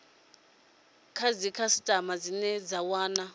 kha dzikhasitama dzine dza wana